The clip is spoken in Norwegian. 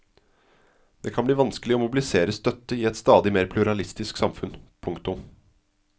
Det kan bli vanskelig å mobilisere støtte i et stadig mer pluralistisk samfunn. punktum